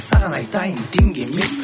саған айтайын теңге емес